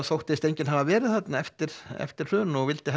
þóttist enginn hafa verið þarna eftir eftir hrun og vildi